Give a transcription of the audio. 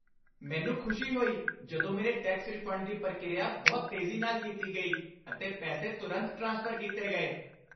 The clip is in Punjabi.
ਮੈਨੂੰ ਖੁਸ਼ੀ ਹੋਈ ਜਦੋਂ ਮੇਰੇ ਟੈਕਸ ਰਿਫੰਡ ਦੀ ਪ੍ਰਕਿਰਿਆ ਬਹੁਤ ਤੇਜ਼ੀ ਨਾਲ ਕੀਤੀ ਗਈ, ਅਤੇ ਪੈਸੇ ਤੁਰੰਤ ਟ੍ਰਾਂਸਫਰ ਕੀਤੇ ਗਏ।